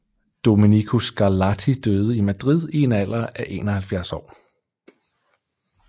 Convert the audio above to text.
Domenico Scarlatti døde i Madrid i en alder af 71 år